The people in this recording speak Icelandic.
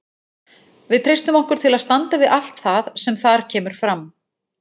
Við treystum okkur til að standa við allt það sem þar kemur fram.